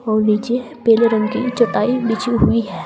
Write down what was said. और नीचे पीले रंग की चटाई बिछी हुई है।